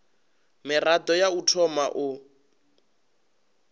mirado ya u thoma u